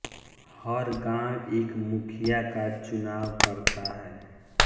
हर गाँव एक मुखिया का चुनाव करता है